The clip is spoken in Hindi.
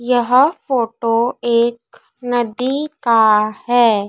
यह फोटो एक नदी का है।